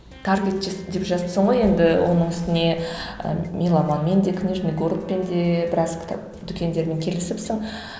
таргет жасап деп жатырсың ғой енді оның үстіне ы меломанмен де книжный городпен де біраз кітап дүкендерімен келісіпсің